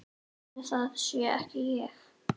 Ætli það sé ekki ég.